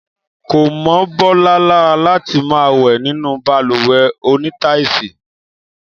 Kò mọ́ Bọ́lá lára láti máa wẹ̀ nínú balùwẹ̀ onítáìsì